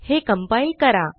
हे कंपाइल करा